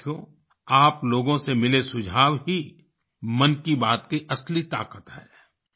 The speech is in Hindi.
साथियो आप लोगों से मिले सुझाव ही मन की बात की असली ताकत हैं